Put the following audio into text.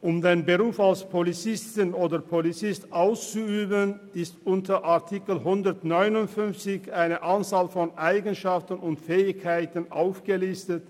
Um den Beruf als Polizist oder Polizistin auszuüben, ist unter Artikel 159 eine Anzahl von Eigenschaften und Fähigkeiten aufgelistet,